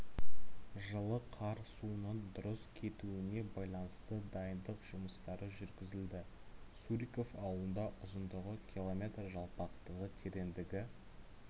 жылы қар суының дұрыс кетуіне байланысты дайындық жұмыстары жүргізілді суриков ауылында ұзындығы км жалпақтығы тереңдігі